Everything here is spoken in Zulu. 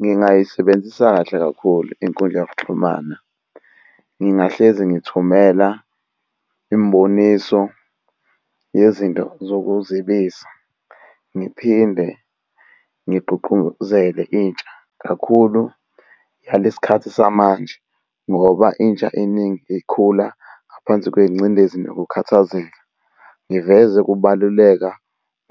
Ngingayisebenzisa kahle kakhulu inkundla yokuxhumana. Ngingahlezi ngithumela imiboniso yezinto zokuzibisa. Ngiphinde ngigqugquzele intsha kakhulu yalesikhathi samanje, ngoba intsha eningi ikhula ngaphansi kwengcindezi nokukhathazeka. Ngiveze ukubaluleka